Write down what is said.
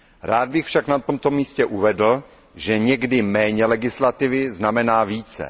Rád bych však na tomto místě uvedl, že někdy méně legislativy znamená více.